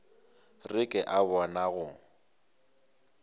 re ke a bona go